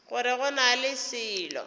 gore go na le selo